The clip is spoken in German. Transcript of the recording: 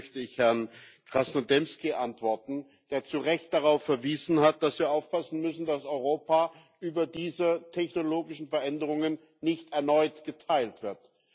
Zunächst möchte ich Herrn Krasnodębski antworten, der zu Recht darauf verwiesen hat, dass wir aufpassen müssen, dass Europa über diese technologischen Veränderungen nicht erneut geteilt wird.